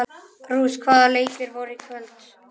Ruth, hvaða leikir eru í kvöld?